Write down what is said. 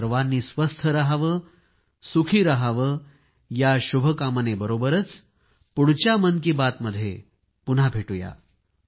आपण सर्वांनी स्वस्थ रहावे सुखी रहावे या शुभभावनेबरोबरच पुढच्या मन की बात मध्ये पुन्हा भेटूया